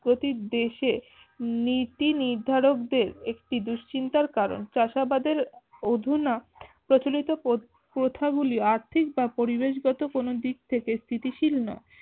গতিক দেশে নীতি নির্ধারকদের একটি দুশ্চিন্তার কারন চাষাবাদের অধুনা প্ৰচলিত প্র প্রথা গুলি আর্থিক বা পরিবেশ গত কোনো দিক থেকে স্থিতিশীল না